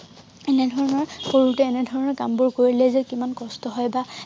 এনেধৰণৰ সৰুতে এনেধৰণৰ কামবোৰ কৰিলেযে কিমান কষ্ট হয় বা